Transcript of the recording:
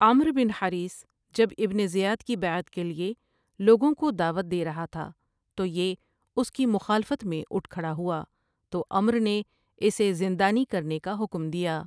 عمرو بن حریث جب ابن زیاد کی بیعت کیلئے لوگوں کودعوت دے رہا تھا تو یہ اس کی مخالفت میں اٹھ کھڑا ہوا تو عمرو نے اسے زندانی کرنے کا حکم دیا ۔